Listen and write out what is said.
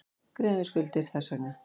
Greiða niður skuldir þess vegna.